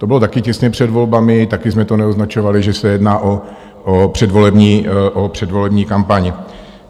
To bylo taky těsně před volbami, taky jsme to neoznačovali, že se jedná o předvolební kampaň.